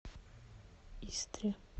истре